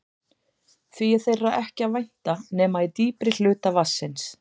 Því er þeirra ekki að vænta nema í dýpri hluta vatnsins.